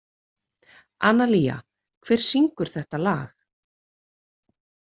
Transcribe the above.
Analía, hver syngur þetta lag?